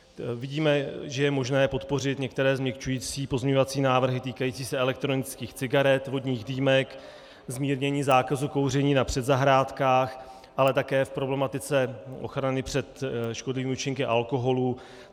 Vidíme, že je možné podpořit některé změkčující pozměňovací návrhy týkající se elektronických cigaret, vodních dýmek, zmírnění zákazu kouření na předzahrádkách, ale také v problematice ochrany před škodlivými účinky alkoholu.